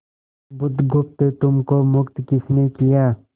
बुधगुप्त तुमको मुक्त किसने किया